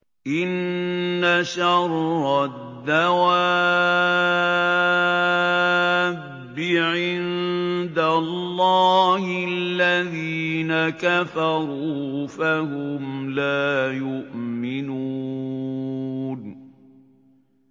إِنَّ شَرَّ الدَّوَابِّ عِندَ اللَّهِ الَّذِينَ كَفَرُوا فَهُمْ لَا يُؤْمِنُونَ